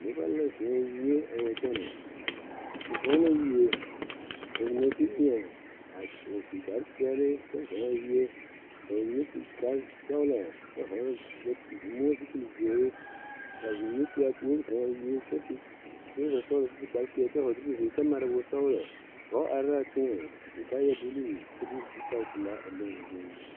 Nobɔ la zɔɔ wie a wa kyɛnɛ ba zɔɔ la wie ka ba mine de weɛ a su kparepeɛle kyɛ zɔɔ a wie ka ba mine su kparesɔglɔ kyɛ hɔɔle sɛ moɔupile zeere ka ba mine tuaa puore zɔɔ a wie kyɛ su trɔza sɔglɔ kyɛ su kparepeɛle kyɛ hɔɔle zupile zeere kyɛ mare wosɔglɔ dɔɔ are laa teŋɛŋ su kaayɛ bluu de zutalpelaa a leŋoo zuŋ.